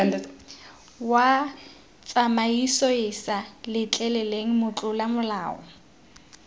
wa tsamaisoeesa letleleleng motlola molao